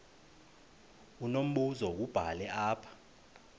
unombuzo wubhale apha